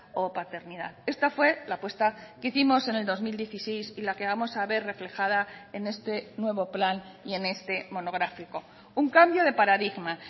o paternidad esta fue la apuesta que hicimos en el dos mil dieciséis y la que vamos a ver reflejada en este nuevo plan y en este monográfico un cambio de paradigma